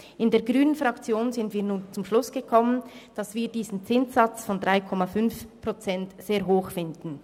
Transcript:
In der grünen Fraktion sind wir nun zum Schluss gekommen, dass wir diesen Zinssatz von 3,5 Prozent sehr hoch finden.